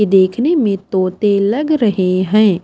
देखने में तोते लग रहे हैं।